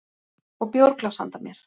Og bjórglas handa mér.